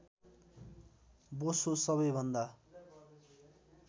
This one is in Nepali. बोसो सबैभन्दा